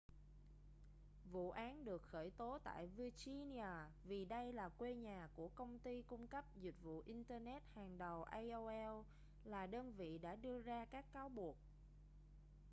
vụ án được khởi tố tại virginia vì đây là quê nhà của công ty cung cấp dịch vụ internet hàng đầu aol là đơn vị đã đưa ra các cáo buộc